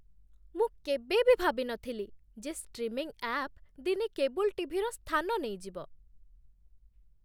ମୁଁ କେବେ ବି ଭାବି ନଥିଲି ଯେ ଷ୍ଟ୍ରିମିଂ ଆପ୍ ଦିନେ କେବୁଲ ଟି.ଭି.ର ସ୍ଥାନ ନେଇଯିବ।